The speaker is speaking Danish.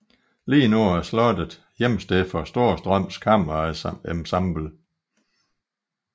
Lige nu er slottet hjemsted for Storstrøms Kammerensemble